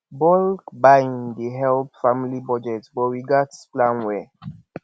bulk buying dey help family budget but we gats plan well